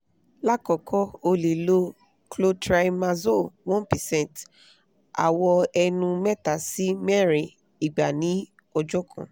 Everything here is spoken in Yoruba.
lakoko o le lo clotrimazole one percent awọ ẹnu mẹta si mẹrin igba ni ọjọ kan